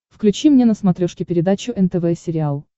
включи мне на смотрешке передачу нтв сериал